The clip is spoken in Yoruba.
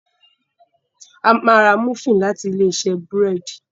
A má rà Múfìn láti Ilé-iṣẹ́ búrẹ́d.